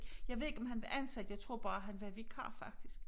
Jeg ved ikke om han var ansat jeg tror bare han var vikar faktisk